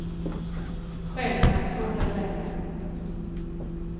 Själv har jag svårt att välja.